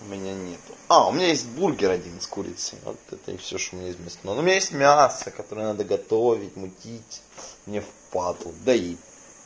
у меня нету а у меня есть бургер с курицей вот это и все что меня есть ну у меня есть мясо которое надо готовить мутить мне впадлу и